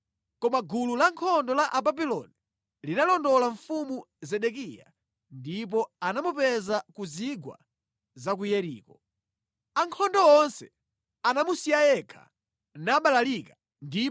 koma gulu la ankhondo la ku Babuloni linalondola mfumu Zedekiya ndi kumupeza mʼchigwa cha ku Yeriko. Ankhondo onse anamusiya yekha nabalalika.